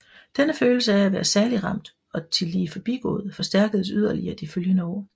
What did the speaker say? Denne følelse af være særligt ramt og tillige forbigået forstærkedes yderligere de følgende år